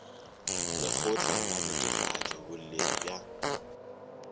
lekgotla la netefatšo boleng bja